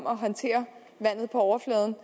at håndtere vandet på overfladen